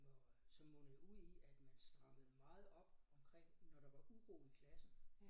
Hvor øh som mundede ud i at man strammede meget op omkring når der var uro i klassen